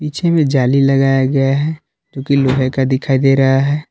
पीछे में जाली लगाया गया है जो की लोहे का दिखाई दे रहा है।